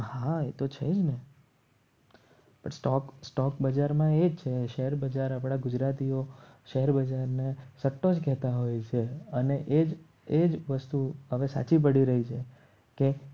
હા એ તો છે જ ને સ્ટોક બજાર બજારમાં એ જ છે શેરબજાર આપણા ગુજરાતીઓ શેરબજારને સ્ત્રહ કહેતા હોય છે અને એ જ એ જ વસ્તુ હવે સાચી પડી રહી છે કે